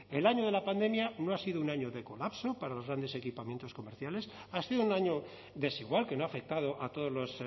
el año de la pandemia no ha sido un año de colapso para los grandes equipamientos comerciales ha sido un año desigual que no ha afectado a todos los